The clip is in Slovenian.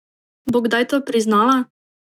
Bo kdaj to priznala?